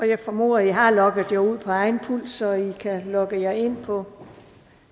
jeg formoder at i har logget jer ud på egen pult så i nu om kan logge jer ind på